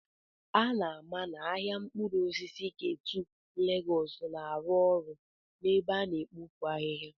A na-ama na ahịa mkpụrụ osisi Ketu Lagos na-arụ ọrụ n'ebe a na-ekpofu ahihia.